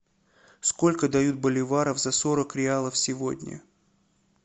сколько дают боливаров за сорок реалов сегодня